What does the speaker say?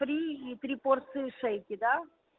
три три порции шейки да